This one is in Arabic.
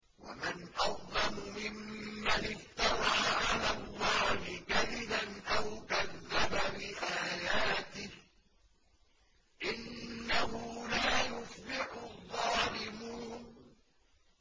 وَمَنْ أَظْلَمُ مِمَّنِ افْتَرَىٰ عَلَى اللَّهِ كَذِبًا أَوْ كَذَّبَ بِآيَاتِهِ ۗ إِنَّهُ لَا يُفْلِحُ الظَّالِمُونَ